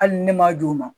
Hali ne m'a d'u ma